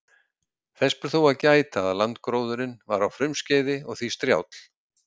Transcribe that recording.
Þess ber þó að gæta að landgróðurinn var á frumskeiði og því strjáll.